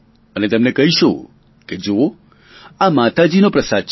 અને તેમને કહીશું કે જુઓ આ માતાજીનો પ્રસાદ છે